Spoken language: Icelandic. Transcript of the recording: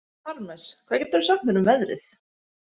Parmes, hvað geturðu sagt mér um veðrið?